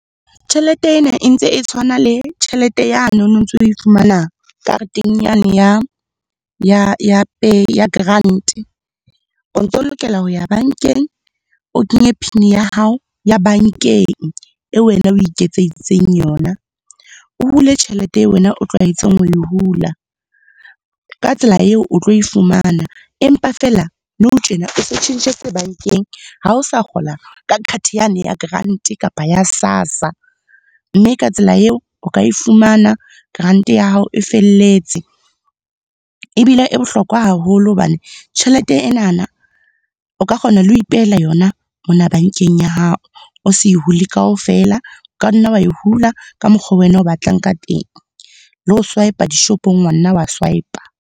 Tjhelete ena e ntse e tshwana le tjhelete yane o no ntso e fumana kareteng yane ya ya grant. O ntso lokela ho ya bankeng, o kenye pin ya hao ya bankeng, eo wena o iketseditseng yona. O hule tjhelete eo wena o tlwaetseng ho e hula, ka tsela eo o tlo e fumana. Empa fela tjena o so tjhentjhetse bankeng, ha o sa kgola ka card yane ya grant kapa ya SASSA mme ka tsela eo o ka e fumana grant ya hao e felletse. Ebile e bohlokwa haholo hobane tjhelete o ka kgona le ho ipehela yona mona bankeng ya hao, o se e hule kaofela. O ka nna wa e hula ka mokgo wena o batlang ka teng. Le ho swaepa dishopong, wa nna wa swaepa